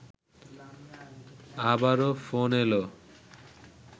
আবারও ফোন এলো